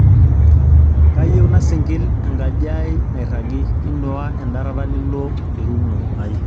kayieu nasingil enkaji ai nairagi inuaa endarata nilo erumu ai